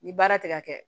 Ni baara tɛ ka kɛ